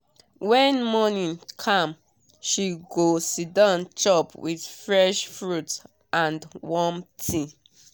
when morning calm she go siddon chop with fresh fruit and warm tea.